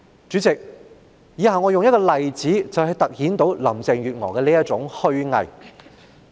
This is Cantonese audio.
主席，以下我會用一個例子來凸顯林鄭月娥的虛偽。